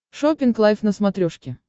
шоппинг лайв на смотрешке